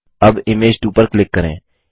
अब इमेज 2 पर क्लिक करें